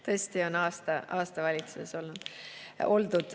Tõesti on aasta valitsuses oldud.